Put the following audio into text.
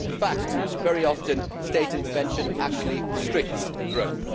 In fact, very often state intervention actually restricts growth.